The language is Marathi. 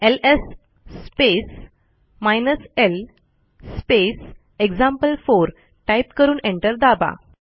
LS space hyphen L space example four type करून एंटर दाबा